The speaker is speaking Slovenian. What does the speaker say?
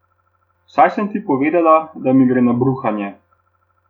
Saj sem ti povedala, da mi gre na bruhanje.